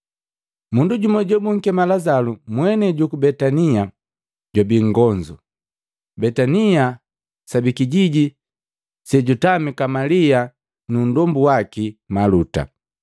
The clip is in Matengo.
Mundu jumu jobunkema Lazalu, mwenei juku Betania, jwabii nngonzu. Betania sabi kijiji sejutamika Malia nu nndombu waki Maluta.